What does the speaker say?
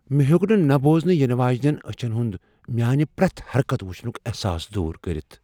مے٘ ہیوٚک نہٕ نہٕ بوزنہٕ یِنہٕ واجِنین أچھن ہُند میانہِ پریٚتھ حركت وُچھنُك احساس دوٗر كٔرِتھ ۔